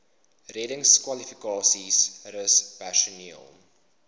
reddingskwalifikasies rus personeel